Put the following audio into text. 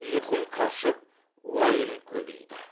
ұйқым қашып уайым көбейді